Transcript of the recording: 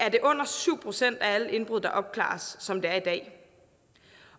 det under syv procent af alle indbrud der opklares som det er i dag